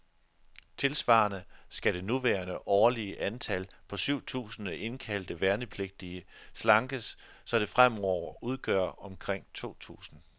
Tilsvarende skal det nuværende årlige antal, på syv tusinde indkaldte værnepligtige, slankes, så det fremover udgør omkring to tusinde.